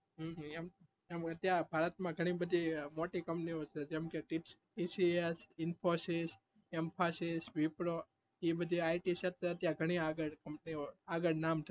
એમ ભારત માં ગણી બધી મોટી company છે જેમ કે tcs, Info yo એ બધી IT સધ્ધર ત્યાં ગણી આગળ છે આગળ નામ છે